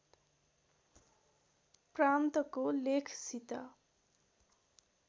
प्रान्तको लेखसित